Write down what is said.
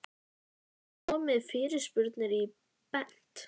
Hödd Vilhjálmsdóttir: Hvað er það við hann?